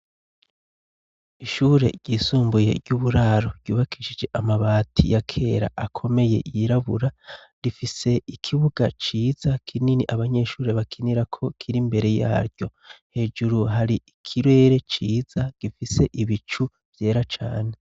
Ishure ryisumbuye ry'uburaro ryubakishije amabati ya kera akomeye yirabura rifise ikibuga ciza kinini abanyeshure bakinira ko kiri imbere yaryo hejuru hari ikirere ciza gifise ibicu vyera cane.